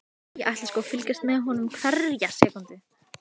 Við komumst af með okkar ráðum.